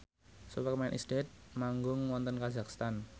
Superman is Dead manggung wonten kazakhstan